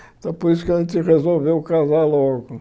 Então, por isso que a gente resolveu casar logo.